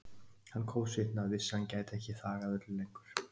Hann kófsvitnaði og vissi að hann gæti ekki þagað öllu lengur.